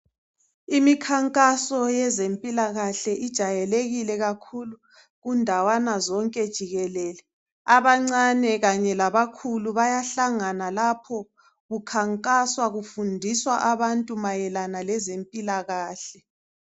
Imikhankaso yezempilakahle ijayekile kakhulu kundawana zonke jikelele abancane kanye labakhulu bayahlangana lapho kukhankaswa kufundiswa abantu mayelana lezempilakahle.